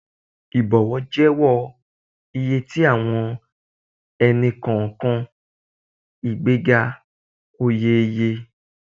Ibọwọ jẹwọ iye ti awọn ẹni-kọọkan, igbega oye oye